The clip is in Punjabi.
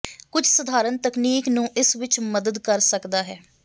ਕੁਝ ਸਧਾਰਨ ਤਕਨੀਕ ਨੂੰ ਇਸ ਵਿੱਚ ਮਦਦ ਕਰ ਸਕਦਾ ਹੈ